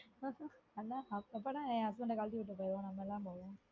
அப் அப்பனா என் husband கழட்டி விட்டுட்டு போவோம் நம்ம எல்லாரும் போவோம்